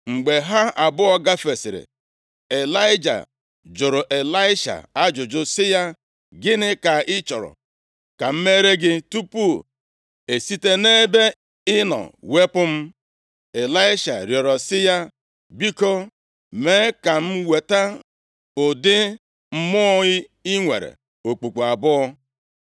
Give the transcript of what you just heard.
Mgbe ha abụọ gafesịrị, Ịlaịja jụrụ Ịlaisha ajụjụ sị ya, “Gịnị ka ị chọrọ ka m meere gị tupu e site nʼebe ị nọ wepụ m?” Ịlaisha rịọrọ sị ya, “Biko, mee ka m nweta ụdị mmụọ i nwere okpukpu abụọ.”